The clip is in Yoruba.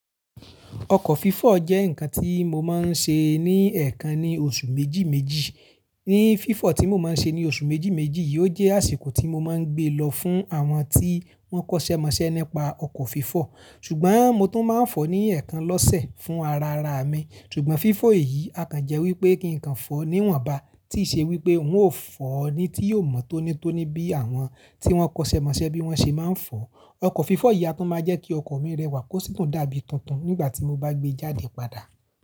Ọkọ̀ fifọ̀ jẹ́ nǹkan tí mo máa ń ṣe ní ẹ̀ẹ̀kan ní oṣù méjì méjì. Ní fifọ̀ tí mo máa ń ṣe ní oṣù méjì méjì yìí, ó jẹ́ àsìkò tí mo máa ń gbé lọ fún àwọn tí wọ́n kọ́ṣẹ́ mọṣẹ́ nípa ọkọ̀ fifọ̀. Ṣùgbọ́n mo tún máa ń fọ̀ ní ẹ̀ẹ̀kan lọ́sẹ̀ fún ara ara mi. Ṣùgbọ́n fifọ̀ èyí a kàn jẹ́ wí pé kí nǹkan fọ́ níwọ̀nba, tí í ṣe wí pé ǹ ó fọ́ ni tí yóò mọ tónítóní bí àwọn tí wọ́n kọ́ṣẹ́ mọṣẹ́ bí wọ́n ṣe máa ń fọ̀. Ọkọ̀ fifọ̀ yìí a tún máa jẹ́ kí ọkọ̀ mi rẹwà kó sì tún dàbí tuntun nígbà tí mo bá gbé e jáde padà.